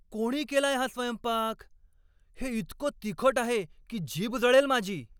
कोणी केलाय हा स्वयंपाक? हे इतकं तिखट आहे की जीभ जळेल माझी.